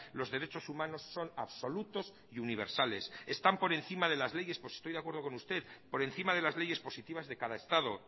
los derechos humanos son absolutos y universales están por encima de las leyes pues estoy de acuerdo con usted por encima de las leyes positivas de cada estado